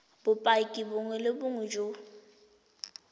bopaki bongwe le bongwe jo